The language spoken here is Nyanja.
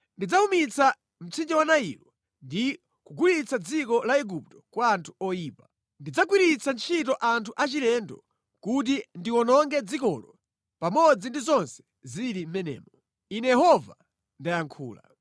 Ndidzawumitsa mtsinje wa Nailo ndi kugulitsa dziko la Igupto kwa anthu oyipa. Ndidzagwiritsa ntchito anthu achilendo kuti ndiwononge dzikolo pamodzi ndi zonse zili mʼmenemo. Ine Yehova ndayankhula.